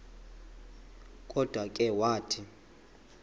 kodwa ke wathi